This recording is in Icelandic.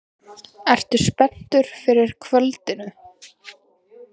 Hödd: Ertu spenntur fyrir kvöldinu?